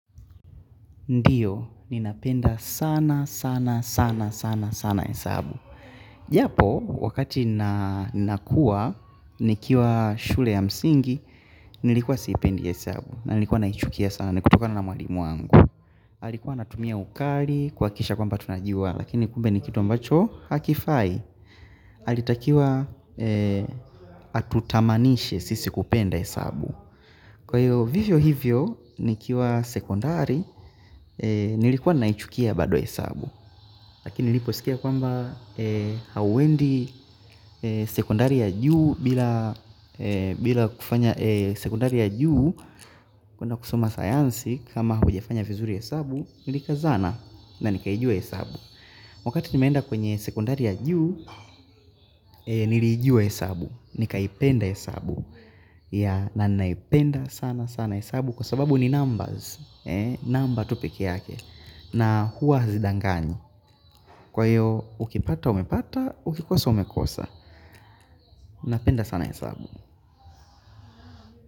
Ndio ninapenda sana sana hesabu japo, wakati nakuwa, nikiwa shule ya msingi, nilikuwa sipendi hesabu. Na nilikuwa naichukia sana, ni kutkana na mwalimu wangu. Alikuwa anatumia ukali, kuhakikisha kwamba tunajua, lakini kumbe ni kitu ambacho, hakifai. Alitakiwa, atutamanishe sisi kupenda hesabu. Kwa hiyo vivyo hivyo nikiwa sekondari nilikuwa naichukia bado hesabu. Lakini niliposikia kwamba hauendi sekondari ya juu bila kufanya sekondari ya juu kwenda kusoma sayansi kama hujafanya vizuri hesabu nilikazana na nikaijua hesabu. Wakati nimeenda kwenye sekondari ya juu niliijua hesabu. Nikaipenda hesabu. Na naipenda sana sana hesabu kwa sababu ni numbers Number tu peke yake na huwa hazidanganyi. Kwa hiyo ukipata umepata, ukikosa umekosa. Napenda sana hesabu.